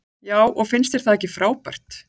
Já og finnst þér það ekki frábært?